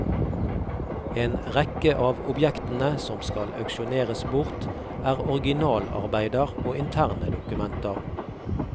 En rekke av objektene som skal auksjoneres bort, er originalarbeider og interne dokumenter.